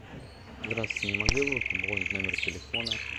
здравствуйте не могли бы вы пополнить номер телефона